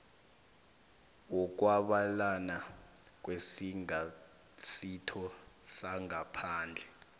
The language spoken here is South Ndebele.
wokwabelana ngesingasitho sangaphandle